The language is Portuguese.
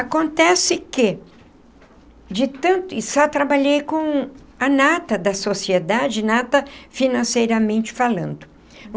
Acontece que de tanto e só trabalhei com a nata da sociedade, nata financeiramente falando.